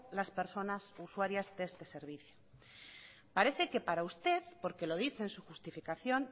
las personas usuarias de este servicios parece que para usted porque lo dice en su justificación